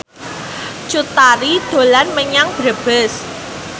Cut Tari dolan menyang Brebes